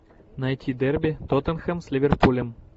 найти дерби тоттенхэм с ливерпулем